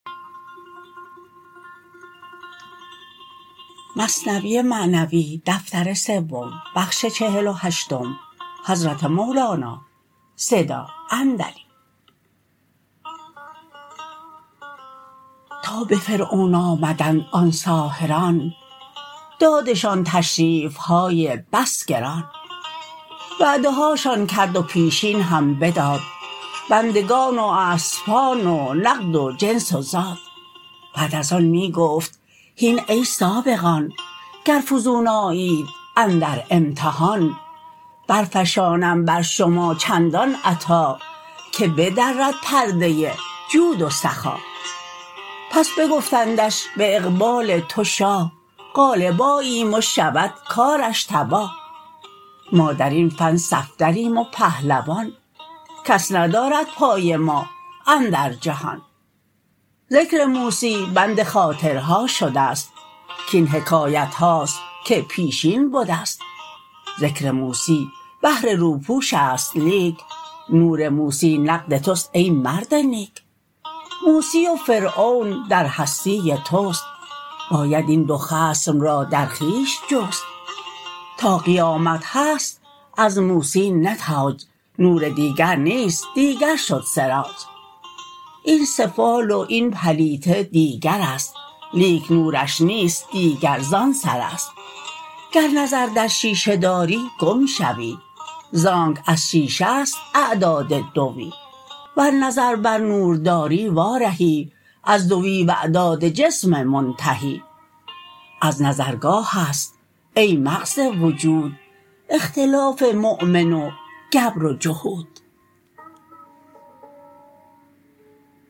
تا به فرعون آمدند آن ساحران دادشان تشریفهای بس گران وعده هاشان کرد و پیشین هم بداد بندگان و اسپان و نقد و جنس و زاد بعد از آن می گفت هین ای سابقان گر فزون آیید اندر امتحان برفشانم بر شما چندان عطا که بدرد پرده جود و سخا پس بگفتندش به اقبال تو شاه غالب آییم و شود کارش تباه ما درین فن صفدریم و پهلوان کس ندارد پای ما اندر جهان ذکر موسی بند خاطرها شدست کین حکایتهاست که پیشین بدست ذکر موسی بهر روپوشست لیک نور موسی نقد تست ای مرد نیک موسی و فرعون در هستی تست باید این دو خصم را در خویش جست تا قیامت هست از موسی نتاج نور دیگر نیست دیگر شد سراج این سفال و این پلیته دیگرست لیک نورش نیست دیگر زان سرست گر نظر در شیشه داری گم شوی زانک از شیشه ست اعداد دوی ور نظر بر نور داری وا رهی از دوی و اعداد جسم منتهی از نظرگاهست ای مغز وجود اختلاف مؤمن و گبر و جهود